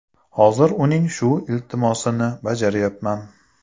Hozir uning shu iltimosini bajaryapman.